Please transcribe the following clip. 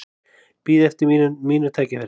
Bíð eftir mínu tækifæri